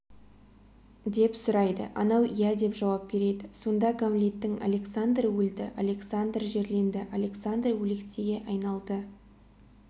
деп сұрайды анау иә деп жауап береді сонда гамлеттің александр өлді александр жерленді александр өлексеге айналды